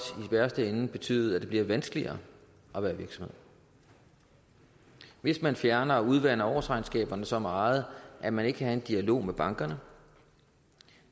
kan betyde at det bliver vanskeligere at være virksomhed hvis man fjerner og udvander årsregnskaberne så meget at man ikke kan have en dialog med bankerne